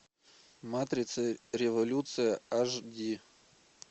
матрица революция аш ди